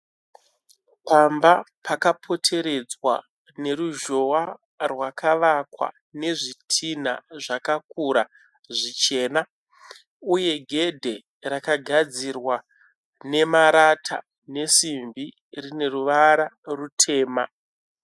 Pamba pakapoteredzwa neruzhowa rwakavakwa nezvidhina zvakakura zvichena. Uye gedhe rakagadzirwa nemarata nesimbi riine ruvara rutema.